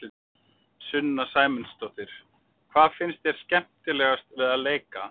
Sunna Sæmundsdóttir: Hvað finnst þér skemmtilegast við að leika?